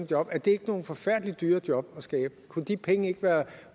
job er det ikke nogle forfærdelig dyre job at skabe kunne de penge ikke være